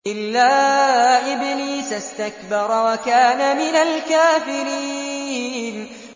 إِلَّا إِبْلِيسَ اسْتَكْبَرَ وَكَانَ مِنَ الْكَافِرِينَ